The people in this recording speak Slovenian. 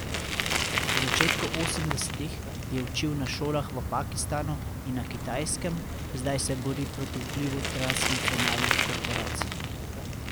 V začetku osemdesetih je učil na šolah v Pakistanu in na Kitajskem, zdaj se bori proti vplivu transnacionalnih korporacij.